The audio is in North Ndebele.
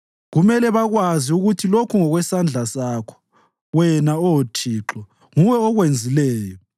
Kumele bakwazi ukuthi lokhu ngokwesandla sakho; wena, Oh Thixo, nguwe okwenzileyo.